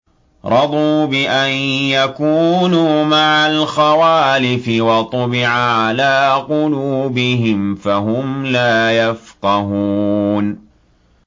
رَضُوا بِأَن يَكُونُوا مَعَ الْخَوَالِفِ وَطُبِعَ عَلَىٰ قُلُوبِهِمْ فَهُمْ لَا يَفْقَهُونَ